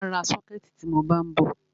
Mà á ra sọ́kẹ̀tì tí mọ bá ń bọ̀.